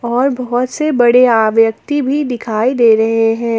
और बहोत से बड़े आ व्यक्ति भी दिखाई दे रहे हैं।